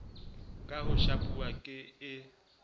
ka ho shapuwa ke e